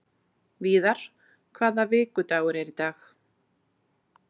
Víðar, hvaða vikudagur er í dag?